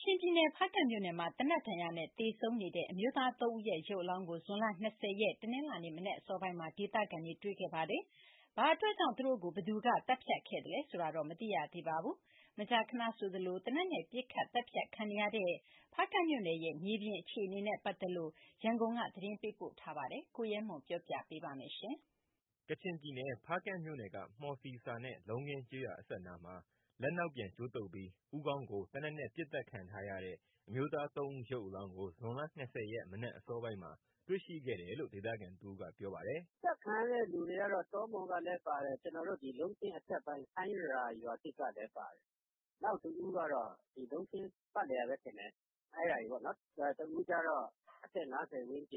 ချင်ပြည်နယ်၊ ဖားကန့်မြို့နယ်မှာ သေနတ်နဲ့ပစ်သတ်ခံထားရတဲ့ အမျိုးသား ၃ ဦးအလောင်းကို ဇွန်လ ၂၀ ရက်၊ ဒီကနေ့ မနက်အစောပိုင်းမှာ ဒေသခံတွေက တွေ့ရှိခဲ့ပါတယ်။ ဘာအတွက်ကြောင့် သူတို့ကို ဘယ်သူ သတ်ဖြတ်ခဲ့သလဲဆိုတာကိုတော့ မသိရသေးပါဘူး။ မကြာခဏဆိုသလို သေနတ်နဲ့ သတ်ဖြတ်ခံနေရတဲ့ ဖားကန့်မြို့နယ်ရဲ့ မြေပြင်အခြေအနေနဲ့ ပတ်သက်လို့ ရန်ကုန်ကပေးပို့ထားတဲ့ သတင်းကို ကိုရဲမွန် ပြောပြမှာပါ။ ကချင်ပြည်နယ်၊ ဖားကန့်မြို့နယ်က မှော်စီစာနဲ့ လုံးခင်းကျေးရွာအစပ်နားမှာ လက်နောက်ပြန်ကြိုးတုတ်ပြီး ဦးခေါင်းကို သေနတ်နဲ့ပစ်သတ်ခံထားရတဲ့ အမျိုးသား ၃ဦး ရုပ်အလောင်းကို ဒီကနေ့ မနက်အစောပိုင်းမှာ တွေ့ရှိခဲ့တယ်လို့ ဒေသခံတဦးက ပြောပါတယ်။ "ပစ်သတ်ခံရတဲ့ လူတွေကတော့ တောမှော်ကလည်းပါတယ်။ ကျနော်တို့ ဒီလုံးခင်းအထက်ပိုင်း ဆိုင်းရာရွာသစ်ကလည်းပါတယ်။ နောက်တဦးကတော့ ဒီလုံးခင်းပတ်လည်ကပဲထင်တယ်။ တဦးကျတော့ အသက် ၅၀ ဝ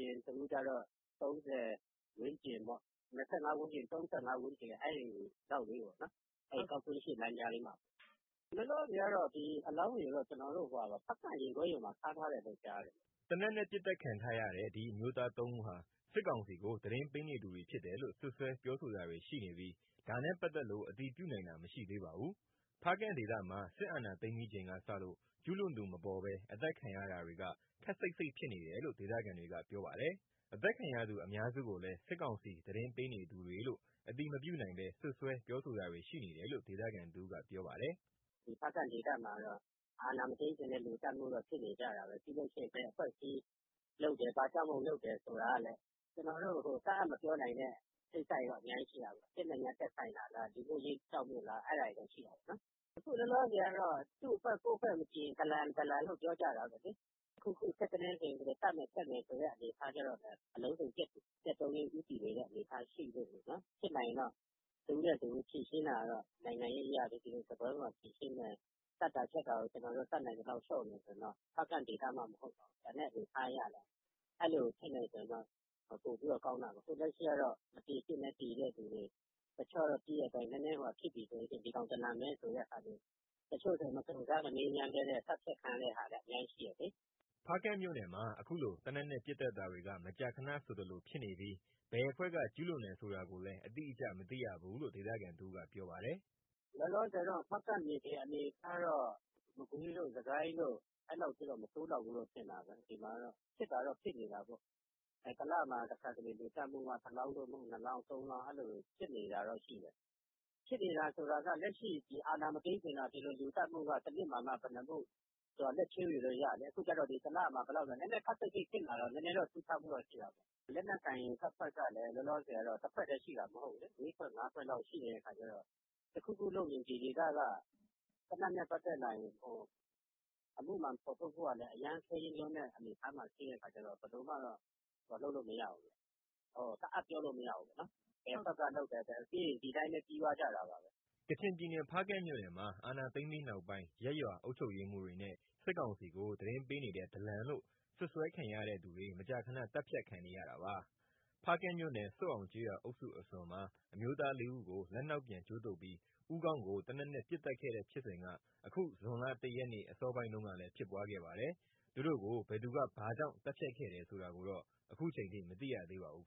န်းကျင်၊ နောက်တဦးက အသက် ၃၀ ဝန်းကျင်ပေါ့။ ၂၅ ဝန်းကျင် - ၃၅ ဝန်းကျင်လောက်ပေါ့။ အဲဒီ ဂေါက်ကွင်းရှေ့ လမ်းကြားလေးမှာပဲ။ လောလောဆယ်ကတော့ အဲဒီအလောင်းတွေကို ဖားကန့်ရင်ခွဲရုံမှာ ထားထားတယ်လို့ကြားတယ်။" သေနတ်နဲ့ ပစ်သတ်ခံထားရတဲ့ ဒီအမျိုးသား ၃ ဦးဟာ စစ်ကောင်စီကို သတင်းပေးနေသူတွေဖြစ်တယ်လို့ စွပ်စွဲပြောဆိုတာတွေ ရှိနေပြီး ဒါနဲ့ပတ်သက်လို့ အတည်ပြုနိုင်တာ မရှိသေးပါဘူး။ ဖားကန့်ဒေသမှာ စစ်အာဏာသိမ်းပြီးချိန်ကစလို့ ကျူးလွန်သူမပေါ်ဘဲ အသတ်ခံရတာတွေက ခပ်စိပ်စိပ်ဖြစ်နေတယ်လို့ ဒေသခံတွေကပြောပါတယ်။ အသတ်ခံရသူအများစုကိုလည်း စစ်ကောင်စီသတင်းပေးနေသူတွေလို့ အတည်မပြုနိုင်ဘဲ စွပ်စွဲပြောဆိုတာတွေ ရှိနေတယ်လို့ ဒေသခံတဦးက ပြောပါတယ်။ "ဒီဖားကန့်ဒေသမှာကတော့ အာဏာမသိမ်းခင်ကတည်းက လူသတ်မှုကတော့ ဖြစ်နေကြတာပဲ။ ပြီးရင် ဘယ်အဖွဲ့အစည်းလုပ်တယ်၊ ဘာကြောင့်မို့လုပ်တယ် ဆိုတာကလည်း ကျနော်တို့ တတ်အပ်မပြောနိုင်တဲ့ကိစ္စတွေတော့ အများကြီးရှိတာပေါ့။ စစ်နဲ့သက်ဆိုင်တာလား၊ လူမှုရေးကိစ္စတွေလား အဲဒါတွေရှိတာပေါ့။ အခုလောလောဆယ်ကတော့ သူ့အဖွဲ့ ကိုယ့်အဖွဲ့မကြည်ရင် ဒလန်လို့ပြောကြတာပဲလေ။ တခုခု ထစ်ခနဲဆို ဒီလိုသတ်မယ်ဖြတ်မယ်ဆိုတဲ့ အနေအထားကျတော့လည်း အလုံးစုံပျက်သုန်းရေး အနေအထားဖြစ်နေတာပေါ့လေ။ ဖြစ်နိုင်ရင်တော့ တဦးနဲ့တဦးဖြေရှင်းတာကတော့ သတ်တာဖြတ်တာကို တတ်နိုင်သလောက် လျှော့မယ်ဆိုရင်တော့ ဖားကန့်ဒေသမှမဟုတ်ပါဘူး၊ ကျန်တဲ့ဒေသ အနေအထားအရလည်း အဲလိုဖြစ်မယ်ဆိုရင်တော့ ပိုပြီးတော့ ကောင်းတာပေါ့။ အခုလက်ရှိကတော့ မသေသင့်ဘဲ သေတဲ့လူတွေ၊ တချို့ကတော့ နည်းနည်းဖြစ်တာနဲ့ ဒီကောင် ဒလန်ပဲဆိုတာတွေ၊ တချို့ဆိုရင် မစုံစမ်း မမေးမြန်းဘဲနဲ့ သတ်ဖြတ်ခံရတဲ့ဟာတွေလည်း အများကြီးရှိတယ်လေ။" ဖားကန့်မြို့နယ်မှာ အခုလို သေနတ်နဲ့ ပစ်သတ်တာတွေက မကြာခဏဆိုသလို ဖြစ်နေပြီး ဘယ်အဖွဲ့က ကျူးလွန်တယ်ဆိုတာလည်း အတိအကျမသိရဘူးလို့ ဒေသခံတဦးက ပြောပါတယ်။ "လောလောဆယ် ဖားကန့်မြေပြင်အနေအထားကတော့ မကွေးတို့ စစ်ကိုင်းတို့ အဲလောက်ထိတော့ မဆိုးလောက်ဘူးလို့ ထင်တာပဲ။ ဒီမှာကတော့ ဖြစ်တာတော့ ဖြစ်နေတာပါပဲ။ တလမှာ တခါ လူသတ်မှုက ၁ လောင်း သို့မဟုတ် ၂ လောင်း၊ ၃ လောင်း အဲလိုတော့ဖြစ်နေတာပဲ။ ဖြစ်နေတာဆိုတာက အာဏာမသိမ်းခင်က လူသတ်မှုက တနှစ်မှာမှ ဘယ်နှစ်မှုဆိုတာ လက်ချိုးရေလို့ရတယ်။ အခုက တလမှာ ဘယ်လောက်ဆိုပြီး ခပ်စိပ်စိပ်ဖြစ်လာတော့ နည်းနည်းထူးခြားမှုတော့ ရှိတာပေါ့။ လက်နက်ကိုင်တပ်ဖွဲ့ကလည်း လောလောဆယ်က တဖွဲ့တည်းရှိတာ မဟုတ်ဘူးလေ။ ၄ ဖွဲ့၊ ၅ ဖွဲ့လောက် ရှိနေတဲ့အခါကျတော့ တခုခုလုပ်ရင် ဒီဒေသက သေနတ်နဲ့ပတ်သက်လာရင် အမှုမှန်ဖော်ထုတ်ဖို့က အရမ်းခဲယဉ်းလွန်းတဲ့ အနေအထားမှာရှိတဲ့ အခါကျတော့ ဘယ်လိုမှတတ်အပ်ပြောလို့ မရဘူးပေါ့နော်၊ ဘယ်အဖွဲ့ကလုပ်တယ်ဆိုတာ ဒီလိုပဲပြီးသွားတာပါပဲ။" ကချင်ပြည်နယ်၊ ဖားကန့်မြို့နယ်မှာ အာဏာသိမ်းပြီးနောက်ပိုင်း ရပ်ရွာအုပ်ချုပ်ရေးမှူးတွေနဲ့ စစ်ကောင်စီကို သတင်းပေးနေတဲ့ ဒလန်လို့ စွပ်စွဲခံရတဲ့သူတွေ မကြာခဏ သတ်ဖြတ်ခံနေရတာပါ။ ဖားကန့်မြို့နယ်၊ ဆွတ်အောင်ကျေးရွာအုပ်စုအစွန်မှာ အမျိုးသား ၄ ဦးကို လက်နောက်ပြန်ကြိုးတုတ်ပြီး ဦးခေါင်းကို သေနတ်နဲ့ ပစ်သတ်ခဲ့တဲ့ဖြစ်စဉ်က အခု ဇွန်လ ၁ ရက်နေ့ အစောပိုင်းတုန်းကလည်း ဖြစ်ပွားခဲ့ပါတယ်။ သူတို့ကို ဘယ်သူက ဘာကြောင့်သတ်ဖြတ်ခဲ့တယ်ဆိုတာကိုတော့ အခုချိန်ထိ မသိရသေးပါဘူး